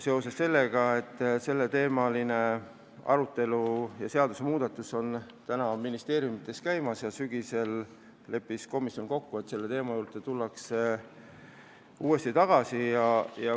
Seda põhjusel, et selleteemaliste seadusmuudatuste arutelu ministeeriumides käib ja komisjon leppis kokku, et selle juurde tullakse uuesti tagasi sügisel.